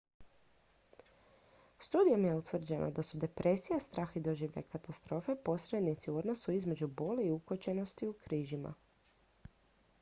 studijom je utvrđeno da su depresija strah i doživljaj katastrofe posrednici u odnosu između boli i ukočenosti u križima